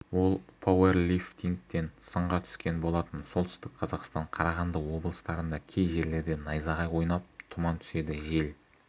ол пауэрлифтингтен сынға түскен болатын солтүстік қазақстан қарағанды облыстарында кей жерлерде найзағай ойнап тұман түседі жел